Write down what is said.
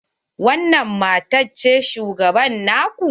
Wanan matan ce shugaba na ku?